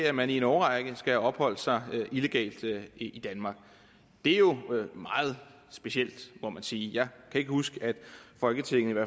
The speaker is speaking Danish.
at man i en årrække skal have opholdt sig illegalt i danmark det er jo meget specielt må man sige jeg kan ikke huske at folketinget